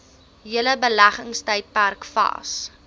hele beleggingstydperk vas